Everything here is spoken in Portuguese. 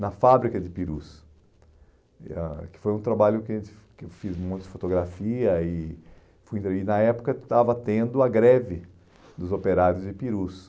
na fábrica de Ipirus, eh ãh que foi um trabalho que a gen que eu fiz um monte de fotografia e fui e na época estava tendo a greve dos operários de Ipirus.